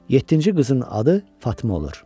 Yeddinci qızın adı Fatma olur.